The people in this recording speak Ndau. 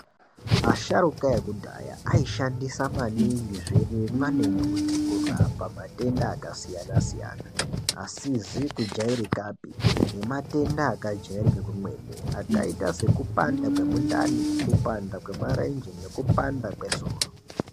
Asharuka ekudhaya aishandisa maningi zvirimwa nembuti kurapa matenda akasiyana-siyana asizi kujairikapi nematenda akajairika kwemene, akaita sekupanda kwemundani, kupanda kwmarenje nekupanda soro.